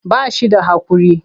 Ba shi da haƙuri.